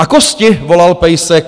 A kosti, volal pejsek.